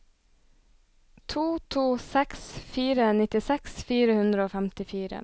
to to seks fire nittiseks fire hundre og femtifire